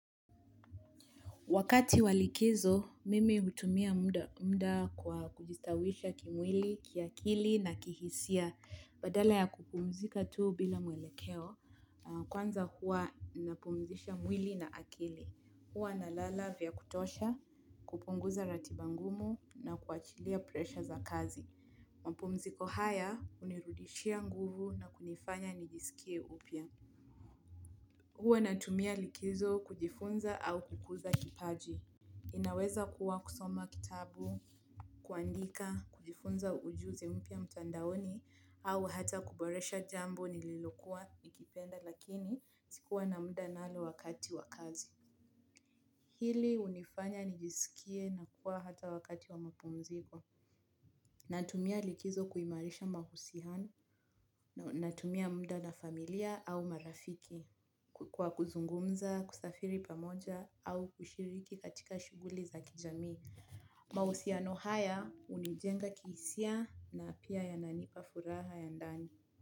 Wakati wa likizo, mimi hutumia muda kwa kujistawisha kimwili, kiakili na kihisia. Badala ya kupumzika tuu bila mwelekeo, kwanza hua napumzisha mwili na akili. Huwa nalala vyakutosha, kupunguza ratiba ngumu na kuachilia presha za kazi. Mpumziko haya unirudishia nguvu na kunifanya nijisikie upya. Huwa natumia likizo kujifunza au kukuza kipaji. Inaweza kuwa kusoma kitabu, kuandika, kujifunza ujuzi mpya mtandaoni au hata kuboresha jambo nililokua ikipenda lakini sikuwa na muda nalo wakati wakazi. Hili unifanya nijisikie na kuwa hata wakati wa mapumziko. Natumia likizo kuimarisha mahusihano, natumia muda na familia au marafiki, kukua kuzungumza, kusafiri pamoja au kushiriki katika shuguli za kijamii. Mausiano haya unijenga kihisia na pia yananipa furaha ya ndani.